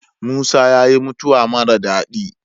Musa yayi mutawa mara dadi